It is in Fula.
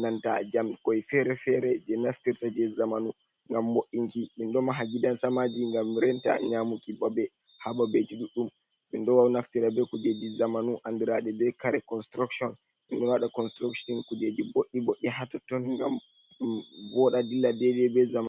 nanta jam koi fere-fere. je naftirta je zamanu ngam mo’inki. Minɗo maha gidan samaji ngam renta nyamuki babe. Ha babeji ɗuɗɗum. Minɗo wau naftirta be kujeji zamanu andiraɗe be kare konsirukshon. Minɗo waɗa konsirushon kujeji boɗɗi-boɗɗe ha totton ngam vooɗa dilla be zamanu.